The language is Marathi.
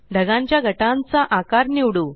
ढगांच्या गटांचा आकार निवडू